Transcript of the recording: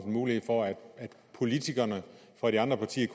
en mulighed for politikerne fra de andre partier